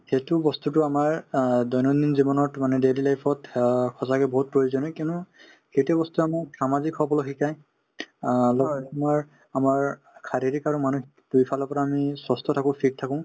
সেইটো বস্তুতো আমাৰ অ দৈনন্দিন জীৱনত মানে daily life ত অ সঁচাকে বহুত প্ৰয়োজনীয় কিয়নো সেইটো বস্তুয়ে আমাক সামাজিক হবলৈ শিকাই অ লগতে তোমাৰ আমাৰ শাৰিৰিক আৰু মানসিক দুয়োফালৰ পৰা আমি health থাকো fit থাকো